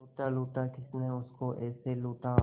लूटा लूटा किसने उसको ऐसे लूटा